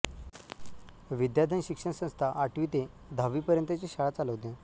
विद्याधन शिक्षण संस्था आठवी ते दहावी पर्यंतची शाळा चालवते